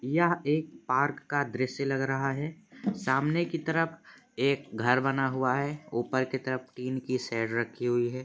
यह एक पार्क का दृश्य लग रहा हैसामने की तरफ एक घर बना हुआ हैऊपर की तरफ टिन की शेड रखी हुई है।